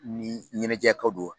Ni ɲɛnɛjɛko do